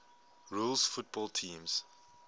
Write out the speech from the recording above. rules football teams